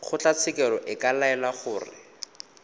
kgotlatshekelo e ka laela gore